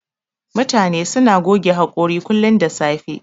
Mutane suna goge haƙori kullun da safe.